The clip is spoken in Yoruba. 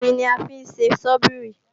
Irin ni a fí ń ṣe Sọ́bíìrì